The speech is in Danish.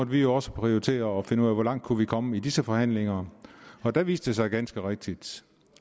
vi jo også prioritere og finde ud af hvor langt vi kunne komme i disse forhandlinger og der viste det sig ganske rigtigt